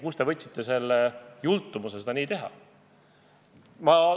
Kust te võtsite selle jultumuse seda nii teha?